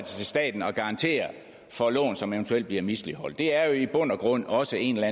staten at garantere for lån som eventuelt bliver misligholdt det er i bund og grund også en eller